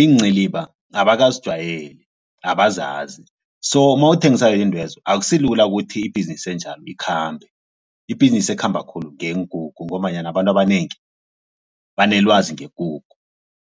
iinciliba abakazijwayeli abazazi so mawuthengisa izintwezo akusilula ukuthi ibhizinisi enjalo ikhambe ibhizinisi ekhamba khulu yeenkukhu ngombanyana abantu abanengi banelwazi ngekukhu.